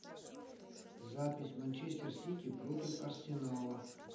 запись манчестер сити против арсенала